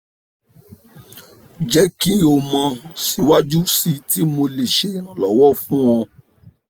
jẹ ki o mọ siwaju sii ti mo le ṣe iranlọwọ fun ọ